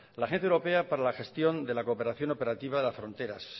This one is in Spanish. la agencia europea para la gestión de la cooperación operativa de la frontera